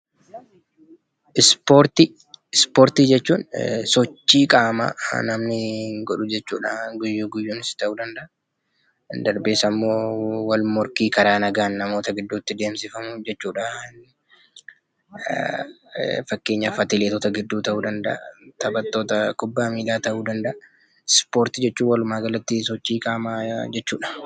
Ispoortii jechuun sochii qaamaan namni godhuu jechuudha. Guyyaa guyyaanis ta'uu danda'a. Darbee immoo wal morkii karaa nagaan namoota gidduutti adeemsifamu jechuudha. Fakkeenyaaf atileetota gidduutti ta'uu danda'a. taphattoota kubbaa miilaa ta'uu danda'a. Ispoortii jechuun walumaan galatti sochii qaamaa jechuudha.